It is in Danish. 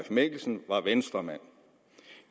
mikkelsen var venstremand